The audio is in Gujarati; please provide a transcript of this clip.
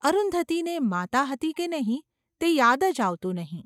અરુંધતીને માતા હતી કે નહિ તે યાદ જ આવતું નહિ.